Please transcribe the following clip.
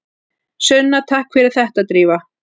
Sunna: Takk fyrir þetta Drífa.